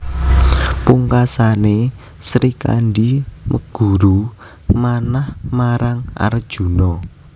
Pungkasané Srikandhi meguru manah marang Arjuna